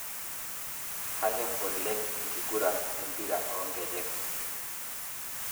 Kanyorr oleng' enkigurran empira oonkejek